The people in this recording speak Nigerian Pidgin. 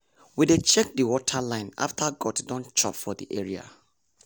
we dey check the water line after goat don chop for the area.